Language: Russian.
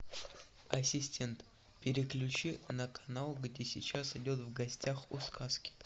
ассистент переключи на канал где сейчас идет в гостях у сказки